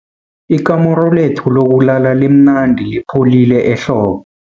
Ikamuru lethu lokulala limnandi lipholile ehlobo.